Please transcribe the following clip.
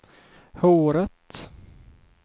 håret